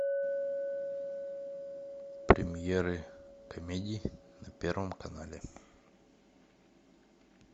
премьеры комедий на первом канале